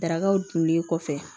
Darakaw dunlen kɔfɛ